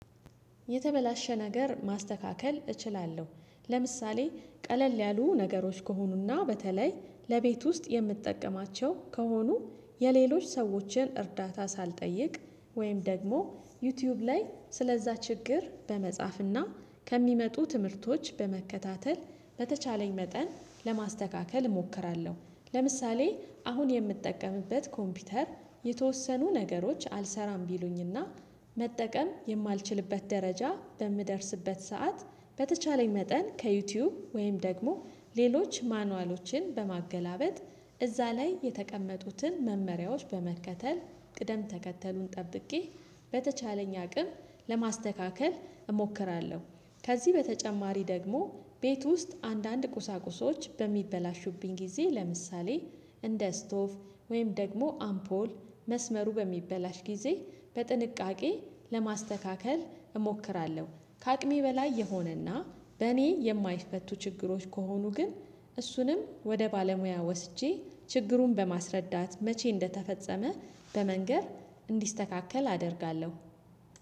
የተበላሸ ነገር ማስተካከል እችላለሁ። ለምሳሌ ቀለል ያሉ ነገሮች ከሆኑና በተለይ ለቤት ውስጥ የምትጠቀማቸው ከሆኑ የሌሎች ሰዎችን እርዳታ ሳልጠይቅ ወይም ደግሞ ዩቲዩብ ላይ ስለዛ ችግር በመጻፍና ከሚመጡ ትምህርቶች በመከታተል በተቻለኝ መጠን ለማስተካከል እሞክራለ፤ ለምሳሌ አሁን የምጠቀምበት ኮምፒውተር የተወሰኑ ነገሮች አልሰራም ቢሉኝና መጠቀም የማልችልበት ደረጃ በምደርስበት ሰዓት በተቻለኝ መጠን ከዩቲዩብ ወይም ደግሞ ሌሎች ማኑዋሎችን በማገላበጥ እዛ ላይ የተቀመጡትን መመሪያዎች በመከተል ቅደም ተከተሉን ጠብቄ በተቻለኝ አቅም ለማስተካከል እሞክራለሁ። ከዚህ በተጨማሪ ደግሞ ቤት ውስጥ አንዳንድ ቁሳቁሶች በሚበላሹብኝ ጊዜ ለምሳሌ እንደ ስቶፍ ወይም ደግሞ አምፖል መስመሩ በሚበላሽ ጊዜ በጥንቃቄ ለማስተካከል እሞክራለሁ፤። ከአቅሜ በላይ የሆነና በእኔ የማይፈቱ ችግሮች ከሆኑ ግን እሱንም ወደ ባለሙያ ወስጄ ችግሩን በማስረዳት መቼ እንደተፈጸመ በመንገር እንዲስተካከል አደርጋለሁ፤።